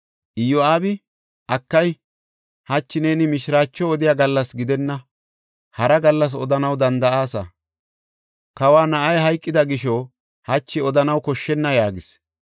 Iyo7aabi, “Akay! Hachi neeni mishiraacho odiya gallas gidenna; hara gallas odanaw danda7aasa. Kawa na7ay hayqida gisho hachi odanaw koshshenna” yaagis.